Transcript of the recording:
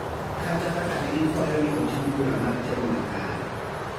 kata kaka ne gikwayo ni otim bura mar tem makare.